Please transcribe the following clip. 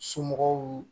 Somɔgɔw